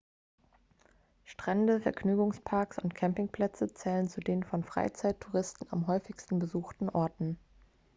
strände vergnügungsparks und campingplätze zählen zu den von freizeittouristen am häufigsten besuchten orten